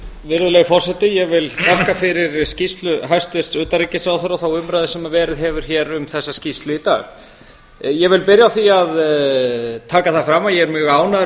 virðulegi forseti ég vil þakka fyrir skýrslu hæstvirts utanríkisráðherra og þá umræðu sem verið hefur hér um þessa skýrslu í dag ég vil byrja á því að taka það fram að ég er mjög ánægður